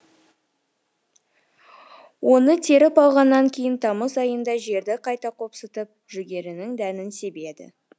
оны теріп алғаннан кейін тамыз айында жерді қайта қопсытып жүгерінің дәнін себеді